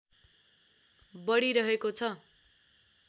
बढिरहेको छ